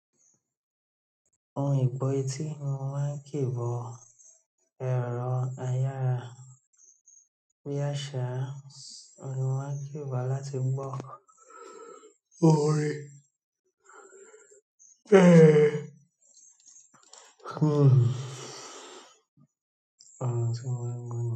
Ohun ìbo etí ni mo máa ń kì bo èro ayára bí àsá, òhun ni mo máa ń kì bó láti gbó orín.